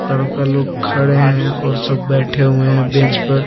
लड़का लोग खड़े हैं और सब बैठे हुए हैं बेंच पर।